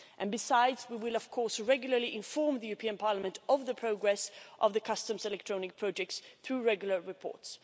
And, besides, we will of course regularly inform Parliament of the progress of the customs electronic projects through regular reports.